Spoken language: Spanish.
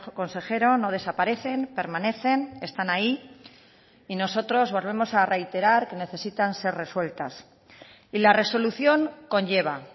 consejero no desaparecen permanecen están ahí y nosotros volvemos a reiterar que necesitan ser resueltas y la resolución conlleva